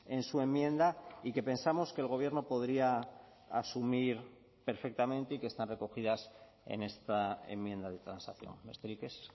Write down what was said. en su enmienda y que pensamos que el gobierno podría asumir perfectamente y que están recogidas en esta enmienda de transacción besterik ez